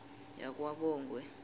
yakwabongwe